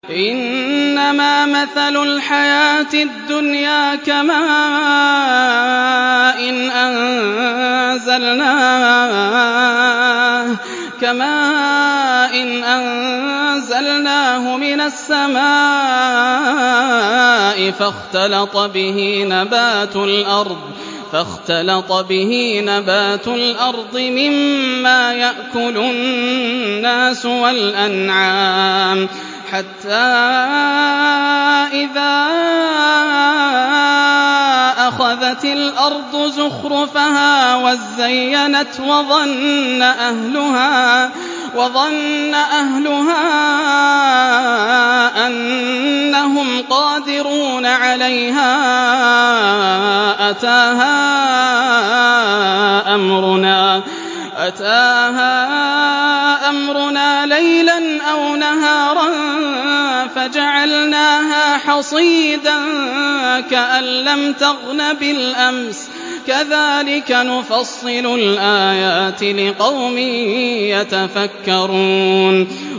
إِنَّمَا مَثَلُ الْحَيَاةِ الدُّنْيَا كَمَاءٍ أَنزَلْنَاهُ مِنَ السَّمَاءِ فَاخْتَلَطَ بِهِ نَبَاتُ الْأَرْضِ مِمَّا يَأْكُلُ النَّاسُ وَالْأَنْعَامُ حَتَّىٰ إِذَا أَخَذَتِ الْأَرْضُ زُخْرُفَهَا وَازَّيَّنَتْ وَظَنَّ أَهْلُهَا أَنَّهُمْ قَادِرُونَ عَلَيْهَا أَتَاهَا أَمْرُنَا لَيْلًا أَوْ نَهَارًا فَجَعَلْنَاهَا حَصِيدًا كَأَن لَّمْ تَغْنَ بِالْأَمْسِ ۚ كَذَٰلِكَ نُفَصِّلُ الْآيَاتِ لِقَوْمٍ يَتَفَكَّرُونَ